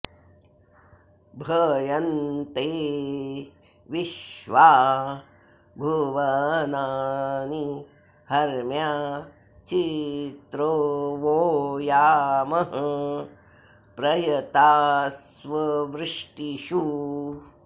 भय॑न्ते॒ विश्वा॒ भुव॑नानि ह॒र्म्या चि॒त्रो वो॒ यामः॒ प्रय॑तास्वृ॒ष्टिषु॑